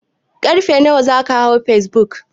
Ƙarfe nawa zaka hau facebook?